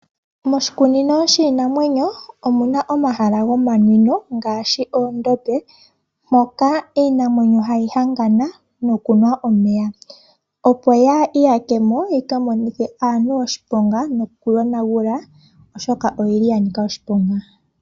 Moshikunino shiinamwenyo omuna omahala gomanwino ngaashi oondombe mpoka iinamwenyo hayi hangana nokunwa omeya, opo yaa iyakemo yi ka monithe aantu oshiponga nokuyonagula oshoka oyi li ya nika oshiponga.